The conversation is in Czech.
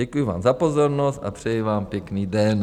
Děkuji vám za pozornost a přeji vám pěkný den.